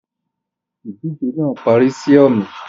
Ìdíje náà parí sì ọmi